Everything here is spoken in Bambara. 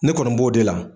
Ne kɔni b'o de la